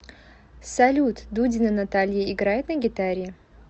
салют дудина наталья играет на гитаре